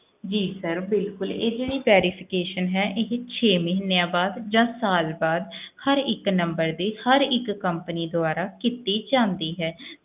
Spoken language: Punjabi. ਜੀ sir ਬਿਲਕੁਲ ਇਹ ਜਿਹੜੀ verification ਹੈ ਇਹ ਛੇ ਮਹੀਨਿਆਂ ਬਾਅਦ ਜਾਂ ਸਾਲ ਬਾਅਦ ਹਰ ਇੱਕ number ਦੀ ਹਰ ਇੱਕ companies ਦੁਆਰਾ ਕੀਤੀ ਜਾਂਦੀ ਹੈ,